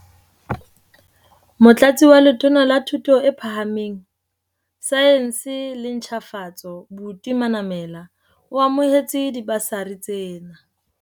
Motlatsi wa Letona la Thuto e Phahameng, Saense le Ntjhafatso, Buti Manamela, o amohetse dibasari tsena.